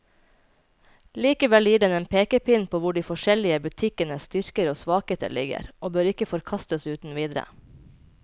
Likevel gir den en pekepinn på hvor de forskjellige butikkenes styrker og svakheter ligger, og bør ikke forkastes uten videre.